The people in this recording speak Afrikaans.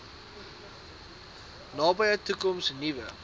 nabye toekoms nuwe